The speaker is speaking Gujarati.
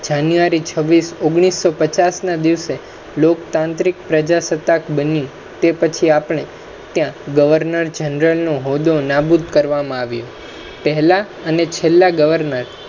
જાન્યુઆરી છવીસ ઓગણીસો પચ્ચાસ ના દિવસે લોકતાંત્રિક પ્રજાસતાક બની તે પછી આપનો ત્ય Governor Genera હોદો નો નાબુત કરવામા આવ્યોપ હેલા આને છેલ્લા governor